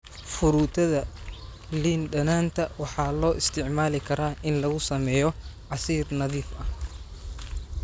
Fruitada liin dhanaanta waxaa loo isticmaali karaa in lagu sameeyo casiir nadiif ah.